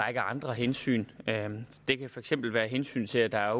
række andre hensyn det kan for eksempel være hensynet til at der jo